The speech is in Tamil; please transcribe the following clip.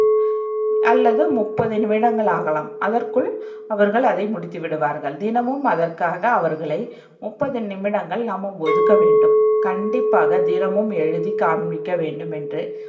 அல்லது முப்பது நிமிடங்கள் ஆகலாம். அதற்குள் அவர்கள் அதை முடித்துவிடுவார்கள். தினமும், அதற்காக அவர்களை முப்பது நிமிடங்கள் நாம்ம ஒதுக்க வேண்டும் கண்டிப்பாக தினமும் எழுதி காண்பிக்க வேண்டும் என்று